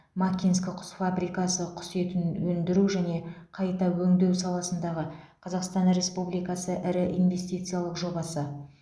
макинск құс фабрикасы құс етін өндіру және қайта өңдеу саласындағы қазақстан республикасы ірі инвестициялық жобасы